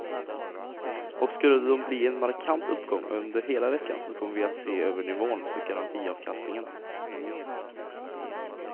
Och skulle de bli en markant uppgång under hela veckan så kommer vi att se över nivån för garantiavkastningen.